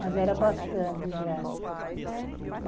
Mas era bastante já.